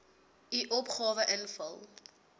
u opgawe invul